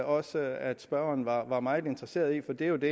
også at spørgeren var var meget interesseret i for det er jo det